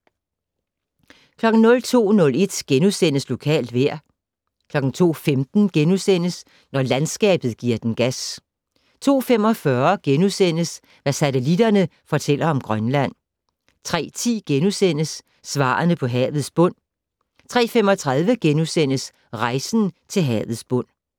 02:01: Lokalt vejr * 02:15: Når landskabet gi'r den gas * 02:45: Hvad satellitterne fortæller om Grønland * 03:10: Svarene på havets bund * 03:35: Rejsen til havets bund *